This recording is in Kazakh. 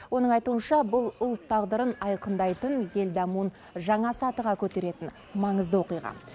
оның айтуынша бұл ұлт тағдырын айқындайтын ел дамуын жаңа сатыға көтеретін маңызды оқиға